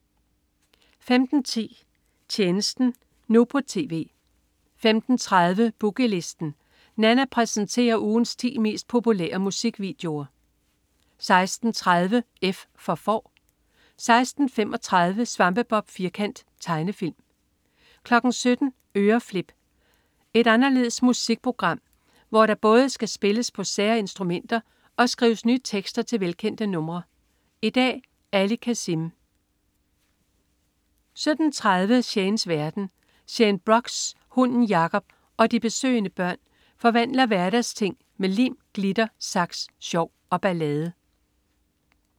15.10 Tjenesten nu på TV 15.30 Boogie Listen. Nanna præsenterer ugens 10 mest populære musikvideoer 16.30 F for Får 16.35 Svampebob Firkant. Tegnefilm 17.00 Øreflip. En anderledes musikquiz, hvor der både skal spilles på sære musikinstrumenter og skrives nye tekster til velkendte numre. I dag: Ali Kazim 17.30 Shanes verden. Shane Brox, hunden Jacob og de besøgende børn forvandler hverdagsting med lim, glitter, saks, sjov og ballade